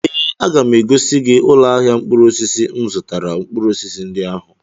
Ee, aga m egosi gị ụlọ ahịa mkpụrụ osisi m zụtara mkpụrụ osisi ndị ahụ.